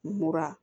Mura